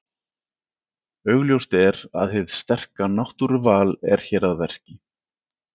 Augljóst er að hið sterka náttúruval er hér að verki.